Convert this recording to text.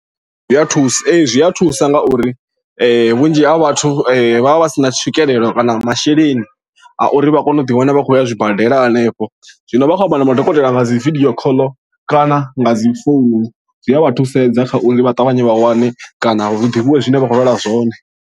Zwi a thusa, ee, zwi a thusa nga uri vhunzhi ha vhathu vha vha vha si na tswikelelo kana masheleni a uri vha kone u ḓiwana vha khou ya zwibadela hanefho. Zwino vha khou amba na madokotela nga dzi video call kana nga dzi founu zwi a vha thusedza kha uri vha ṱavhanye vha wane kana hu ḓivhiwe zwine vha khou lwala zwone.